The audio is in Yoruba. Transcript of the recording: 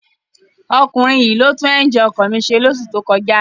Ọkunrin yii lo tun ẹnjínì ọkọ mi ṣe loṣu to kọja